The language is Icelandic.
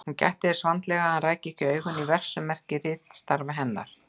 Hún gætti þess vandlega að hann ræki ekki augun í verksummerki ritstarfa hennar.